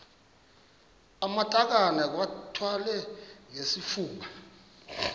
amatakane iwathwale ngesifuba